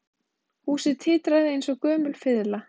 Húsið titraði eins og gömul fiðla